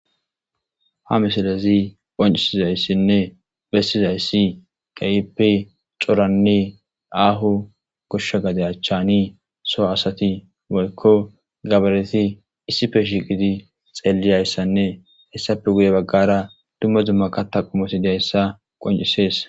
ha misilezi qoncisizayssinne bessizayssi keehipe coranne aahu goshsha gaday a chani so asati molkko gabareti issife shiiqiti xeelliyayssanne hessappe guye baggara dumma zumma kata qumosi deyssa qoncisees